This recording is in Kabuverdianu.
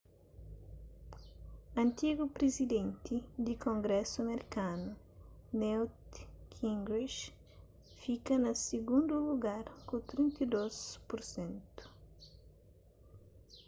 antigu prizidenti di kongrésu merkanu newt gingrich fika na sigundu lugar ku 32 pur sentu